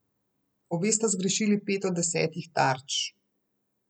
Obe sta zgrešili pet od desetih tarč.